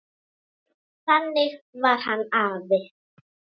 Þannig var hann afi.